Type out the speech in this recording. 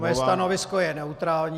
Mé stanovisko je neutrální.